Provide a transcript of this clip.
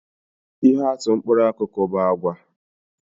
Ihe atụ mkpụrụ akụkụ bu àgwà